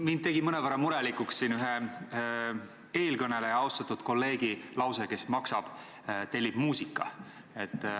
Mind tegi mõnevõrra murelikuks ühe eelkõneleja, austatud kolleegi lause, et kes maksab, tellib muusika.